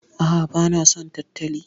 A'a, bana son tantali.